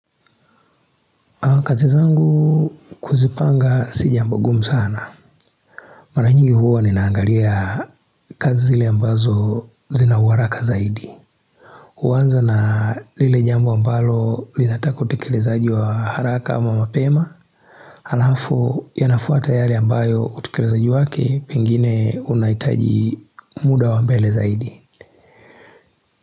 Kazi zangu kuzipanga si jambo gumu sana. Maranyingi huwa ninaangalia kazi zile ambazo zina uwaraka zaidi. Uwanza na lile jombo ambalo linataka utekelezaji wa haraka ama mapema. Halafu yanafuata yale ambayo utekelezaaji wake, pengine unaitaji muda wa mbele zaidi.